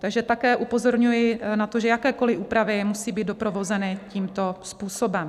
Takže také upozorňuji na to, že jakékoliv úpravy musí být doprovázeny tímto způsobem.